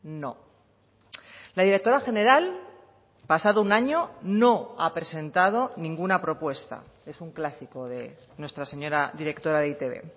no la directora general pasado un año no ha presentado ninguna propuesta es un clásico de nuestra señora directora de e i te be